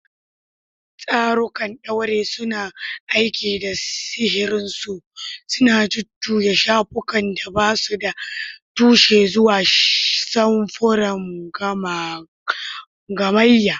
Tsarukan ɗaure suna aiki da sihirinsu, suna jujjuya shafukan da ba su da tushe zuwa samfuran gamayya.